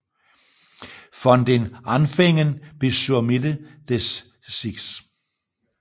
Von den Anfängen bis zur Mitte des 6